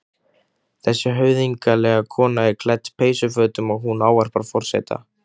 Þessi höfðinglega kona er klædd peysufötum og hún ávarpar forseta.